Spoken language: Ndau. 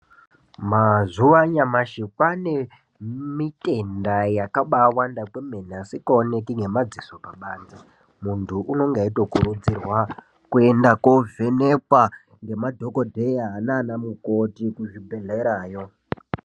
Mazuva anyamashi kwaanemitenda yakabaawanda kwemene asingaoneki ngemadziso pabanze. Muntu unonga eitokurudzirwa kuenda koovhenekwa ngemadhogodheya naana mukoti kuzvibhehlerayo.